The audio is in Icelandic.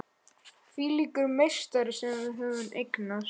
Hvílíkur meistari sem við höfum eignast!